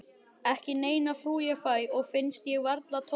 Ekki neina frú ég fæ og finnst ég varla tóra.